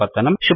शुभदिनं